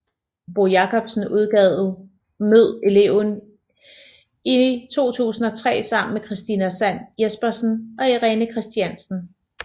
Bo Jacobsen udgav Mød eleven i 2003 sammen med Christina Sand Jespersen og Irene Christiansen